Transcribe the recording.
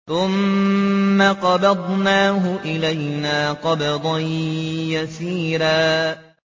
ثُمَّ قَبَضْنَاهُ إِلَيْنَا قَبْضًا يَسِيرًا